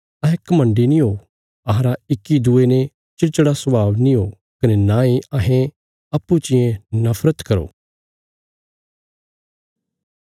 अहें घमण्डी नीं हो अहांरा इक्की दूये ने चिड़चिड़ा स्वाभाव नीं हो कने नांई अहें अप्पूँ चियें नफरत करो